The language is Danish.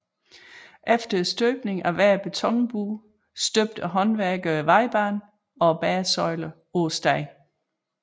Efter støbningen af hver betonbue støbte håndværkerne vejbanen og bæresøjlerne på stedet